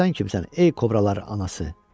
Bəs sən kimsən, ey kobralar anası?